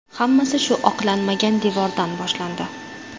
Hammasi shu oqlanmagan devordan boshlandi.